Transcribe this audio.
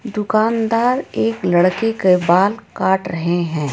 दुकानदार एक लड़के के बाल काट रहे है.